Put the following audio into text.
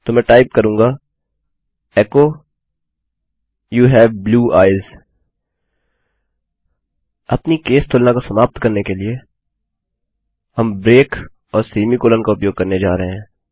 तो मैं टाइप करूँगा echo you have blue eyes अपनी केस तुलना को समाप्त करने के लिए हम ब्रेक और सेमीकोलन का उपयोग करने जा रहे हैं